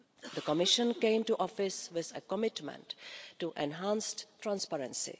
The Commission came to office with a commitment to enhance transparency.